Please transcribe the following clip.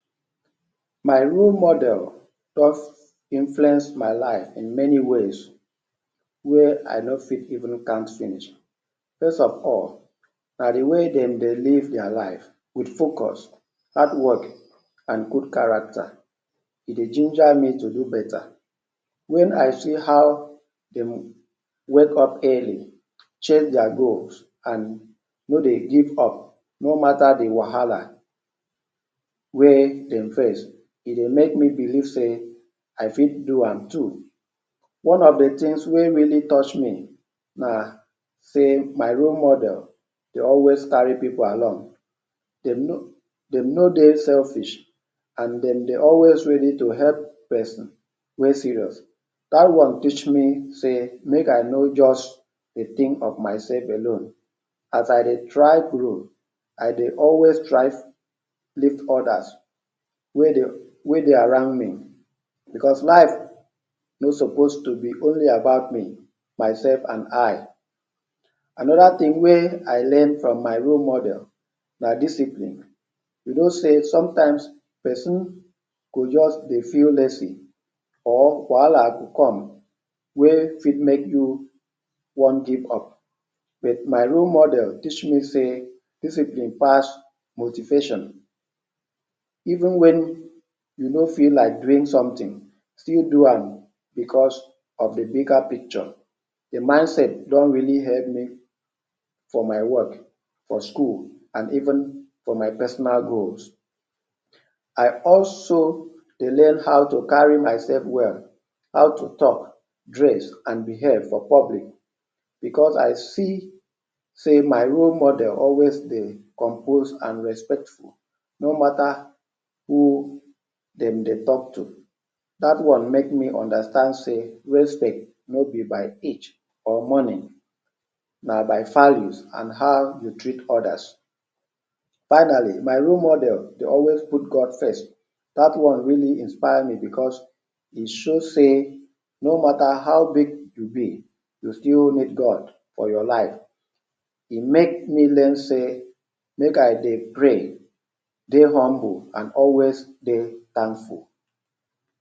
My role model first influence my life in many ways wey I no fit even count finish. First of all na de way dem dey live their life wit focus, hardwork and good character. E dey ginger me to do better wen I see how dem dey wake up early, check their goals and no dey give up no matter de wahala wey dem face. E dey make me believe sey I fit do am too. One of de things wey really touch me na sey my role model dey always carry pipu along. Dem no, dem no dey selfish and dem dey always ready to help person wey serious. Dat one teach me sey make I no just dey think of myself alone. As I dey try grow I dey always strive lift others wey dey wey dey around me because life no suppose to be only about me, myself and I. Another thing wey I learn from my role model na discipline. You know sey sometimes person go just dey feel lazy or wahala go come wey fit make you wan give up but my role model teach me sey discipline pass motivation. Even wen you no fit like something still do am because of de bigger picture. De mindset don really help me for my work, for school and even for my personal growth. I also dey learn how to carry myself well, how to talk, dress and behave for public because I see sey my role model always dey compose and respectful no matter who dem dey talk to. Dat one make me understand sey respect no be by age or money. Na by values and how you treat others. Finally my role model dey always put God first. Dat one really inspire me because e show sey no matter how big you be you still need God for your life. E make me learn sey make I dey pray, dey humble and always dey thankful.